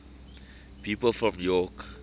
people from york